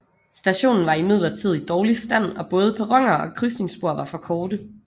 Stationen var imidlertid i dårlig stand og både perroner og krydsningsspor var for korte